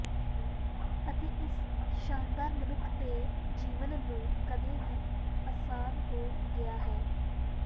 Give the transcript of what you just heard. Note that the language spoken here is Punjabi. ਅਤੇ ਇਸ ਸ਼ਾਨਦਾਰ ਮਨੁੱਖ ਦੇ ਜੀਵਨ ਨੂੰ ਕਦੇ ਵੀ ਆਸਾਨ ਹੋ ਗਿਆ ਹੈ